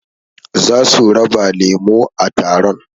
Zasu raba lemo a taron